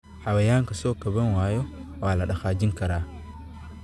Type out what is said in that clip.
Xayawaanka soo kaban waaya waa la dhaqaajin karaa.